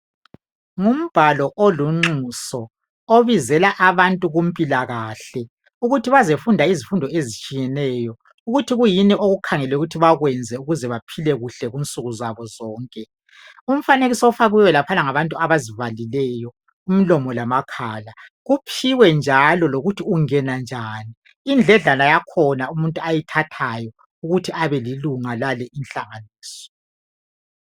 Ngumbhalo olunxuso obizela abantu kumpilakahle ukuthi bazefunda izifundo ezitshiyeneyo ukuthi kuyini okukhangelwe ukuthi bakwenze ukuze baphile kuhle kunsuku zabo zonke. Umfanekiso ofakiwe laphayana ngabantu abazivalileyo umlomo lamakhala. Kuphiwe njalo lokuthi ungena indledlana yakhona umuntu ayithathayo ukuthi abelilunga lalinhlanganiso.